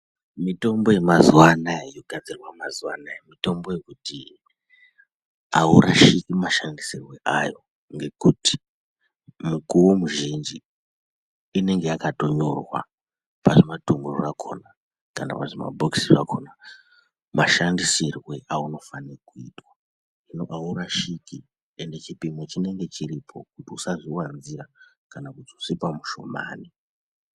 Mitombo yemazuwa anaya yogadzirwa mazuwa anaya ngeyekuti aurwashikwi mushandisirwe wayo ngekuti mukuwo muzhinji inenge yakatonyorwa pazvimadhumbu zvakhona kana pazvimabhokisi zvakhona mashandisirwe aunofanirwe kuitwa hino aurashikwi ende chipimo chinenge chiripo kuti usazviwanzira kana kuzodzipa mushomani.